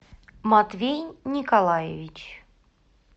матвей николаевич